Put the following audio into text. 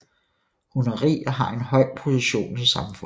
Hun er rig og har en høj position i samfundet